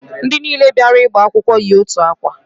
Ndị niile bịara ịgba akwụkwọ yi otu akwa